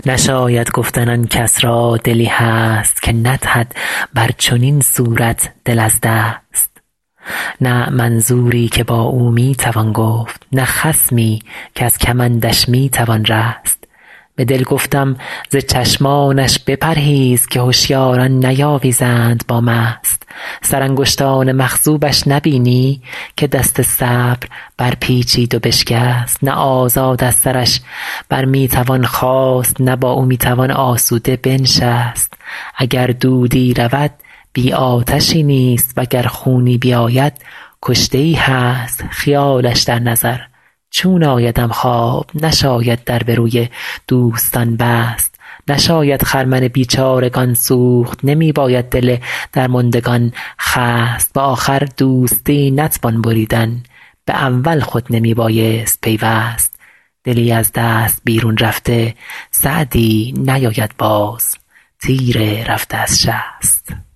نشاید گفتن آن کس را دلی هست که ندهد بر چنین صورت دل از دست نه منظوری که با او می توان گفت نه خصمی کز کمندش می توان رست به دل گفتم ز چشمانش بپرهیز که هشیاران نیاویزند با مست سرانگشتان مخضوبش نبینی که دست صبر برپیچید و بشکست نه آزاد از سرش بر می توان خاست نه با او می توان آسوده بنشست اگر دودی رود بی آتشی نیست و گر خونی بیاید کشته ای هست خیالش در نظر چون آیدم خواب نشاید در به روی دوستان بست نشاید خرمن بیچارگان سوخت نمی باید دل درماندگان خست به آخر دوستی نتوان بریدن به اول خود نمی بایست پیوست دلی از دست بیرون رفته سعدی نیاید باز تیر رفته از شست